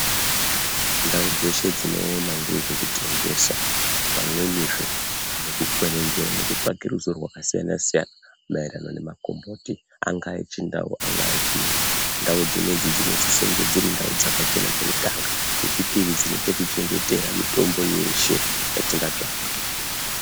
Ndau dzeshe dzinoona ngezvekutengesa pamwenizve nekukwenenzwera nekutsvake ruzivo rwakasiyana-siyana maererano nemakomboti. Anga echindau angaa echiyungu ndau dzinoidzi dzinosisonge dziri ndau dzakachena chekutanga, chechipiri dzine pekuchengetera mitombo yeshe yatinga tsvaga.